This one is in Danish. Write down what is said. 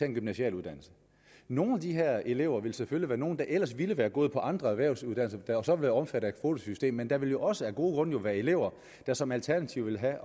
en gymnasial uddannelse nogle af de her elever vil selvfølgelig være nogle der ellers ville være gået på andre erhvervsuddannelser der så vil være omfattet af kvotesystemet men der vil jo også af gode grunde være elever der som alternativ vil have